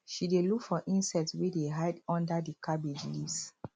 she dey look for insects wey dey hide under the cabbage leaves